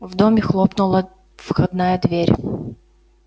в доме хлопнула входная дверь